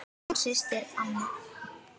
Þín systir Anna.